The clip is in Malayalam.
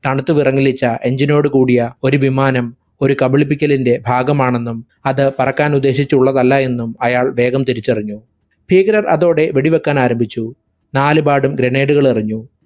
തണുത്തു വിറങ്ങലിച്ച engine നോട് കൂടിയ ഒരു വിമാനം ഒരു കബളിപ്പിക്കലിന്റെ ഭാഗമാണെന്നും അത് പറക്കാനുദ്ദേശിച്ചുള്ളതല്ല എന്നും അയാൾ വേഗം തിരിച്ചറിഞ്ഞു. ഭീകരർ അതോടെ വെടിവെക്കാൻ ആരംഭിച്ചു. നാലുപാടും grenade ഉകളെറിഞ്ഞു.